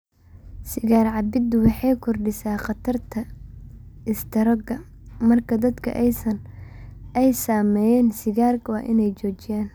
Sigaar-cabbiddu waxay kordhisaa khatarta istaroogga, markaa dadka ay saameeyeen sigaarka waa inay joojiyaan.